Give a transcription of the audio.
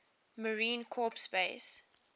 marine corps base